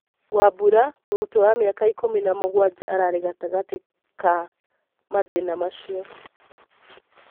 Wambura, Mũrutwo wa miaka ikũmi na mũgwanja ararĩ gatagatĩ ka mathĩna macio.